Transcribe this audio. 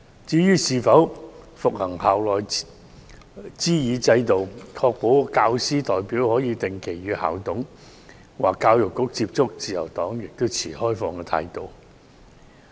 至於是否恢復推行校內諮議制度，確保教師代表可定期與校董或教育局接觸，自由黨亦持開放態度。